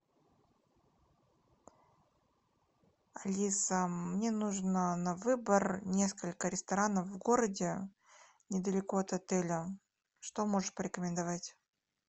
алиса мне нужно на выбор несколько ресторанов в городе недалеко от отеля что можешь порекомендовать